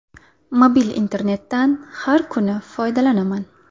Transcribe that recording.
Mobil internetdan har kuni foydalanaman.